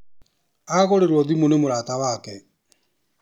Agũrĩrwo thimũ nĩ mũrata wake.